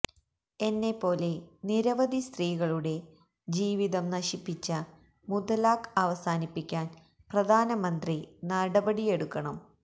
എന്നെപ്പോലെ നിരവധി സ്ത്രീകളുടെ ജീവിതം നശിപ്പിച്ച മുത്തലാഖ് അവസാനിപ്പിക്കാന് പ്രധാനമന്ത്രി നടപടിയെടുക്കണം